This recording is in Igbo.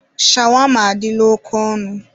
Shawama adịla oke ọnụ.